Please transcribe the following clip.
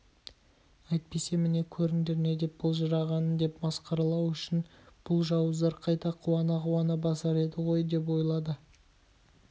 әйтпесе міне көріңдер не деп былжырағанын деп масқаралау үшін бұл жауыздар қайта қуана-қуана басар еді ғой деп ойлады